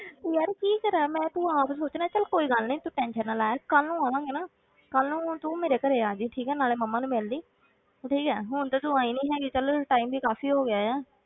ਯਾਰ ਕੀ ਕਰਾਂ ਮੈਂ, ਤੂੰ ਆਪ ਸੋਚ ਨਾ, ਚੱਲ ਕੋਈ ਗੱਲ ਨੀ ਤੂੰ tension ਨਾ ਲੈ ਕੱਲ੍ਹ ਨੂੰ ਆਵਾਂਗੇ ਨਾ ਕੱਲ੍ਹ ਨੂੰ ਤੂੰ ਮੇਰੇ ਘਰੇ ਆ ਜਾਈ, ਠੀਕ ਹੈ, ਨਾਲੇ ਮੰਮਾ ਨੂੰ ਮਿਲ ਲਈਂ ਠੀਕ ਹੈ, ਹੁਣ ਤੇ ਤੂੰ ਆਈ ਨੀ ਹੈਗੀ, ਚੱਲ time ਵੀ ਕਾਫ਼ੀ ਹੋ ਗਿਆ ਹੈ,